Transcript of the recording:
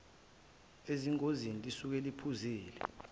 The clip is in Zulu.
ezingozini lisuke liphuzile